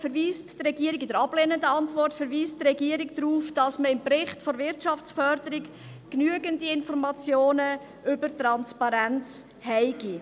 In der ablehnenden Antwort verweist die Regierung darauf, dass man im Bericht der Wirtschaftsförderung genügend Informationen über die Transparenz habe.